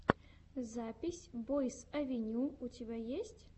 запись бойс авеню у тебя есть